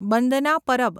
Bandna Parab